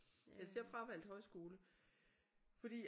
Altså jeg fravalgte højskole fordi